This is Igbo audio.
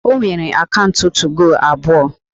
O nwere akaụntụ 2go abụọ